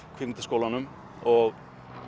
kvikmyndaskólanum og